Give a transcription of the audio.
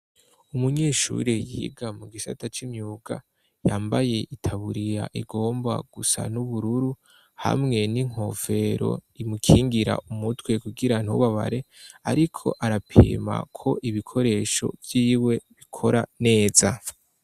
Umunyeshuri yiga mu gisata c'imyuka yambaye itaburiya igomba gusa n'ubururu hamwe n'inkofero imukingira umutwe kugira ntubabare, ariko arapima ko ibikoresho vyiwe bikora neza.